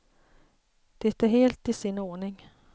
Det är helt i sin ordning.